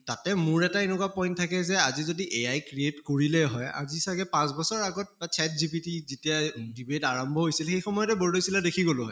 তাতে মোৰ এটা এনেকুৱা point থাকে যে আজি যদি AI create কৰিলে হয়, আজি চাগে পাঁছ বছৰ আগত বা chatgpt যেতিয়া debate আৰম্ভ হৈছিল সেই সময়তে বৰ্দৈচিলা দেখি গʼলো হয়